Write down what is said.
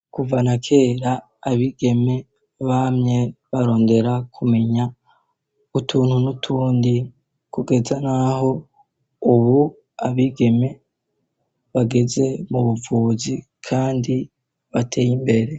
kuvanakera abigeme bamye barondera kumenya utuntu n'utundi kugeza n'aho ubu abigeme bageze mubuvuzi kandi bateye imbere